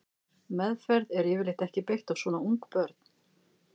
Meðferð er yfirleitt ekki beitt á svona ung börn.